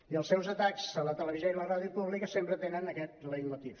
i els seus atacs a la televi·sió i la ràdio públiques sempre tenen aquest leitmotiv